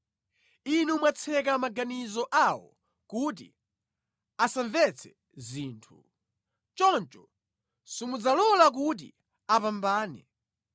Inu mwatseka maganizo awo kuti asamvetse zinthu; choncho simudzawalola kuti apambane.